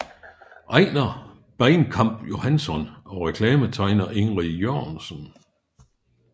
Ejner Bainkamp Johansson og reklametegner Ingrid Jørgensen